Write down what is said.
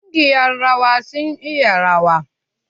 Ƙungiyar rawan sun iya rawa.